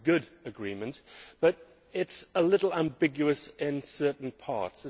It is a good agreement, but it is a little ambiguous in certain parts.